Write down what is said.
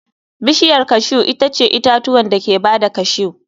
Bishiyar cashew itace itatuwan da ke ba da cashew.